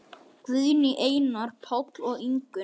Guðný, Einar, Páll og Ingunn.